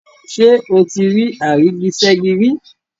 Ṣé o ti rí àrígiṣẹ́gi rí?